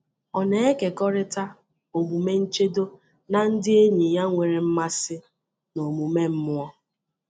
Ọ na-ekekọrịta omume nchedo na ndị enyi ya nwere mmasị n’omume mmụọ.